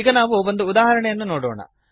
ಈಗ ನಾವು ಒಂದು ಉದಾಹರಣೆಯನ್ನು ನೋಡೋಣ